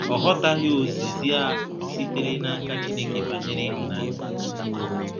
Ọ ghọtaghị ozizi a sitere n’aka Chineke banyere ihunanya